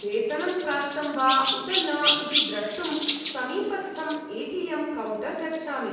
वेतनं प्राप्तं वा उत न इति द्रष्टुं समीपस्थम् ए टी एम् कौण्टर् गच्छामि।